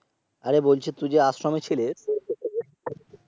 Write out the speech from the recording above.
আরে বলছি তুই যে আশ্রমে ছিলি